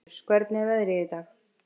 Kaktus, hvernig er veðrið í dag?